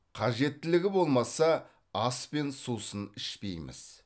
қажеттілігі болмаса ас пен сусын ішпейміз